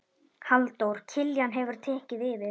Halldór Kiljan hefur tekið yfir.